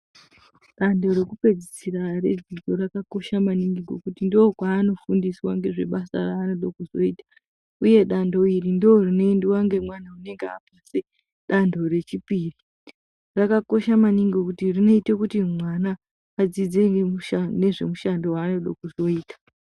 Danto rekupedzisira redzidzo rakakosha maningi ngekuti ndokwanofundiswa nezvebasa ranoda kuzoita uye danto iri ndorinoyendwa ngemwana unenge apedze danto rechipiri. Rakakosha maningi ngokuti rinoita kuti mwana adzidze imweni mishando nezvemushando wanoda kuzoita.